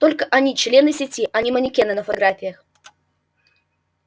только они члены сети а не манекены на фотографиях